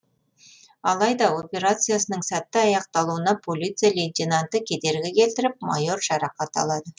алайда операциясының сәтті аяқталуына полиция лейтенанты кедергі келтіріп майор жарақат алады